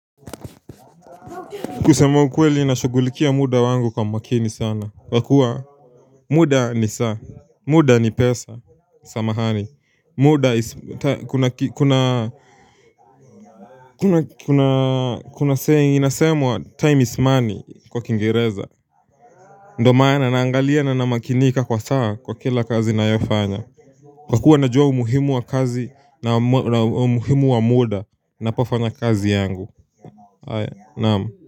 Kusema ukweli na shugulikia muda wangu kwa makini sana. Kwa kuwa muda ni saa, muda ni pesa, samahani. Muda is, kuna, kuna, kuna, kuna, kuna, kuna, kuna, inasemwa time is money kwa kingereza. Ndo maana naangalia na namakinika kwa saa kwa kila kazi nayofanya. Kwa kuwa najua umuhimu wa kazi na umuhimu wa muda napofanya kazi yangu. Aya, naamu.